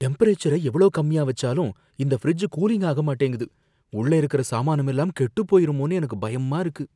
டெம்பரேச்சர எவ்ளோ கம்மியா வச்சாலும் இந்த ஃபிரிட்ஜ் கூலிங் ஆகமாட்டேங்குது, உள்ள இருக்குற சாமானம் எல்லாம் கெட்டுப் போயிருமோன்னு எனக்கு பயமா இருக்கு!